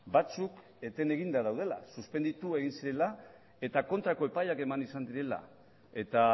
batzuk eten eginda daudela suspenditu egin zirela eta kontrako epaiak eman izan direla eta